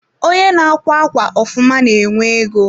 Onye n'akwa ákwà ofụma na-enwe ego.